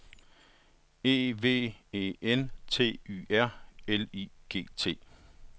E V E N T Y R L I G T